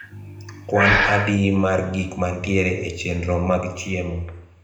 kwan adi mar gik mantiere e chenro mag chiemo